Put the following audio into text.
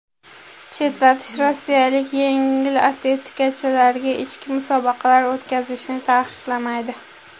Chetlatish rossiyalik yengil atletikachilarga ichki musobaqalar o‘tkazishni taqiqlamaydi.